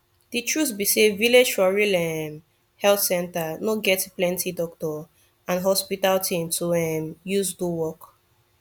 de truth be say village for real um health center no get plenti doctor and hospital thing to um use do work